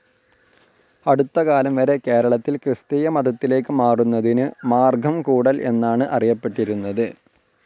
അടുത്തകാലം വരെ കേരളത്തിൽ ക്രിസ്ത്യൻ മതത്തിലേക്ക് മാറുന്നതിനു മാർഗ്ഗം കൂടൽ എന്നാണു അറിയപ്പെട്ടിരുന്നത്.